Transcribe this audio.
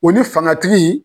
O ni fangatigi